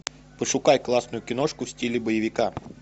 пошукай классную киношку в стиле боевика